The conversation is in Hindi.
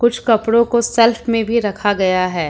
कुछ कपड़ों को सेल्फ में भी रखा गया है।